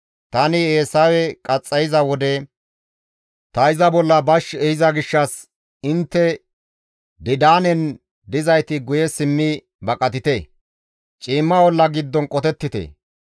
Tani Eesawe qaxxayiza wode ta iza bolla bashsha ehiza gishshas intte Didaanen dizayti guye simmi baqatite; ciimma olla giddon qotettite.